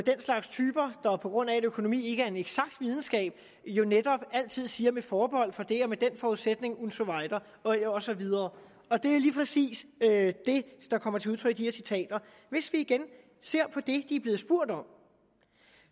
slags typer der på grund af at økonomi ikke er en eksakt videnskab netop altid siger noget med forbehold for det under den forudsætning und so weiter og så videre det er lige præcis det der kommer til udtryk i de her citater hvis vi igen ser på det de er blevet spurgt om